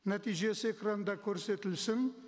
нәтижесі экранда көрсетілсін